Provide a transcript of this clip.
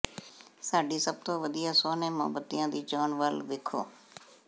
ਸਾਡੀ ਸਭ ਤੋਂ ਵਧੀਆ ਸੋਹਣੇ ਮੋਮਬੱਤੀਆਂ ਦੀ ਚੋਣ ਵੱਲ ਵੇਖੋ